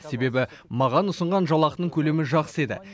себебі маған ұсынған жалақының көлемі жақсы еді